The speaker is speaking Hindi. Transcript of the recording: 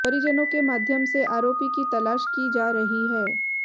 परिजनों के माध्यम से आरोपी की तलाश की जा रही है